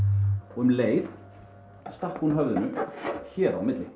og um leið stakk hún höfðinu hér á milli